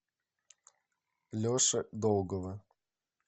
леши долгова